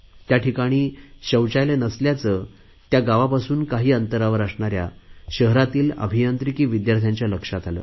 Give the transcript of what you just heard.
या ठिकाणी शौचालय नसल्याचे त्या गावापासून काही अंतरावर असणाऱ्या शहरातील अभियांत्रिकी विद्यार्थ्यांच्या लक्षात आले